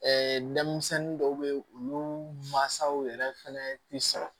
denmisɛnnin dɔw bɛ ye olu mansaw yɛrɛ fɛnɛ ti sɔrɔ